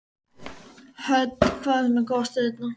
Hödd: Hvað er svona gott við þetta?